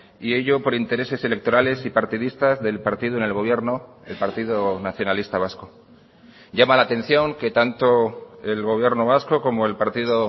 y ello por intereses electorales y partidistas del partido en el gobierno el partido nacionalista vasco llama la atención que tanto el gobierno vasco como el partido